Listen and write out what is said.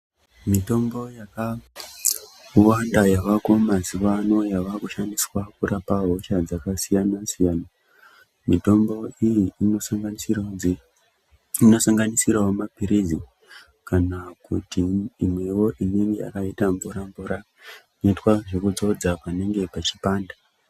Mitombo yakawanda yavako mazuwaano yavakushandiswa kurapa hosha dzakasiyana-siyana. Mitombo iyi inosanganisirawo dze inosanganisirawo maphirizi kana kuti imwewo yakaita mvura -mvura, inoita zvekudzodzwa panenge pachipanda.